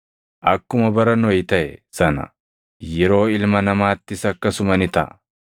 “Akkuma bara Nohi taʼe sana, yeroo Ilma Namaattis akkasuma ni taʼa.